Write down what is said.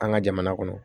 An ka jamana kɔnɔ